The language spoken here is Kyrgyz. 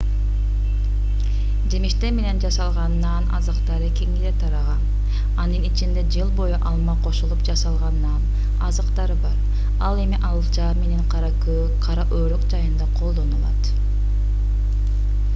жемиштер менен жасалган нан азыктары кеңири тараган анын ичинде жыл бою алма кошулуп жасалган нан азыктары бар ал эми алча менен кара өрүк жайында колдонулат